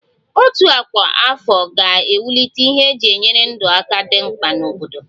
Òtù ọkwa afọ ga-ewulite ihe eji enyere ndụ aka dị mkpa n'obodo